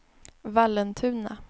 Vallentuna